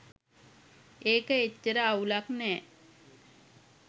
ඒක එච්චර අවුලක් නෑ